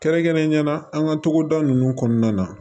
Kɛrɛnkɛrɛnnenya la an ka togoda ninnu kɔnɔna na